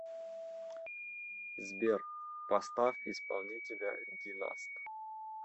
сбер поставь исполнителя династ